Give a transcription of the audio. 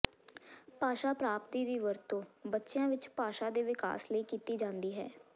ਭਾਸ਼ਾ ਪ੍ਰਾਪਤੀ ਦੀ ਵਰਤੋਂ ਬੱਚਿਆਂ ਵਿਚ ਭਾਸ਼ਾ ਦੇ ਵਿਕਾਸ ਲਈ ਕੀਤੀ ਜਾਂਦੀ ਹੈ